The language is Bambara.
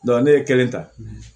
ne ye kelen ta